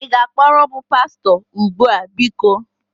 Ị ga-akpọkuru m pastọ? Ugbu a, biko!